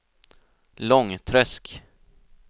Långträsk